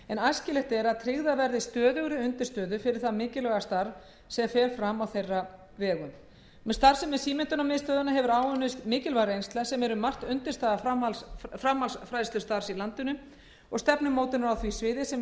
æskilegt er að tryggðar verði stöðugri undirstöður fyrir það mikilvæga starf sem fram fer á þeirra vegum með starfsemi símenntunarmiðstöðvanna hefur áunnist mikilvæg reynsla sem er um margt undirstaða framhaldsfræðslustarfs í landinu og stefnumótunar á því sviði sem birtist meðal annars í frumvarpi þessu